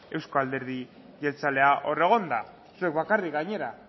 euzko alderi jeltzalea hor egonda zuek bakarrik gainera